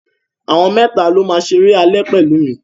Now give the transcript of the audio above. Àwọn mẹ́tà ni ó máa ṣeré alẹ́ pẹ̀lú mi.